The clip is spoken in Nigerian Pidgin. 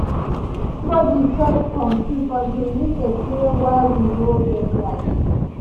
evribodi first confuse until news explain why we nor get light.